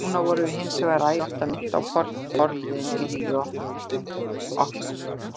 Núna vorum við hinsvegar æ oftar minnt á forliðinn í lífi okkar.